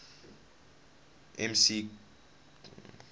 mccausland